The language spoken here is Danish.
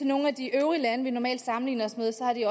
nogle af de øvrige lande vi normalt sammenligner os med ser vi